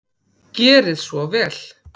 Gerið svo vel!